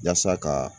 Yasa ka